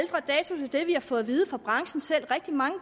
det vi har fået at vide fra branchen selv rigtig mange